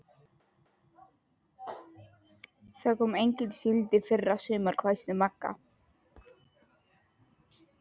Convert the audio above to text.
Það kom engin síld í fyrra sumar, hvæsti Magga.